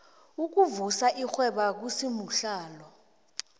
ukuvusa irhwebo akusimuhlalo